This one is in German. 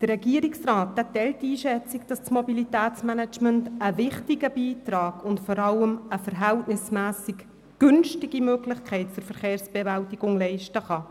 Der Regierungsrat teilt die Einschätzung, dass das Mobilitätsmanagement einen wichtigen Beitrag zur Verkehrsbewältigung leisten kann und zudem relativ günstig ist.